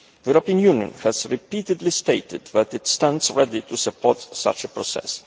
The EU has repeatedly stated that it stands ready to support such a process.